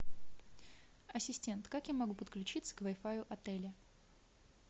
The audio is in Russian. ассистент как я могу подключиться к вай фаю отеля